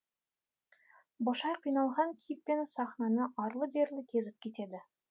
бошай қиналған кейіппен сахнаны арлы берлі кезіп кетеді